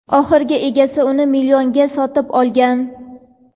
Oxirgi egasi uni bir millionga sotib olgan.